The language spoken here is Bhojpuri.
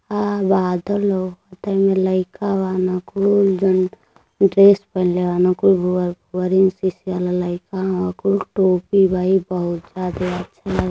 आ बादल ह । त एहिमे लइका बान कुल जवन ड्रेस पहिलने बान कुल भुअर भुअर एन सी सी वाला लइका हवं कुल टोपी बा। इ बहुत ज्यादा अच्छा लागत बा।